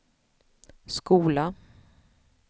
skola